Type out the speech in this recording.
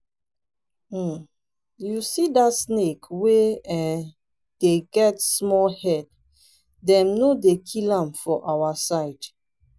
um you see that snake wey um dey get small head dem no dey kill am for our side